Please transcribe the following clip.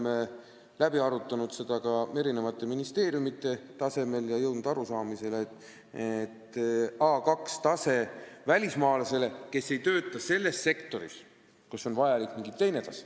Me oleme arutanud seda ka ministeeriumide tasemel ja jõudnud arusaamisele, et A2-tasemest piisab välismaalasele, kes ei tööta selles sektoris, kus on vajalik mingi teine tase.